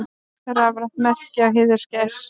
Rafrænt merki á heiðagæs.